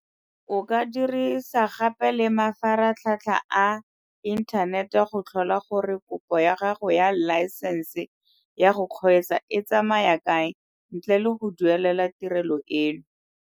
O ka dirisa gape le mafaratlhatlha a inthanete go tlhola gore kopo ya gago ya laesense ya go kgweetsa e tsamaya kae ntle le go duelela tirelo eno.